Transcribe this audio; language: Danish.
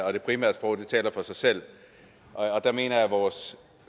og det primære sprog taler for sig selv og det mener jeg at vores